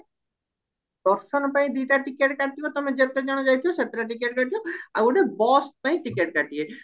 ଦର୍ଶନ ପାଇଁ ତମେ ଦିଟା ଟିକେଟ କାଟିବା ତମେ ଯେତେ ଜଣ ଯାଇଥିବା ସେତଟା ଟିକେଟ କାଟିବା ଆଉ ଗୋଟେ bus ପାଇଁ ଟିକେଟ କାଟିବ